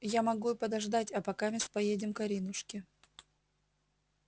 я могу и подождать а покамест поедем к аринушке